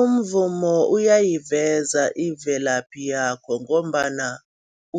Umvumo uyayiveza imvelaphi yakho ngombana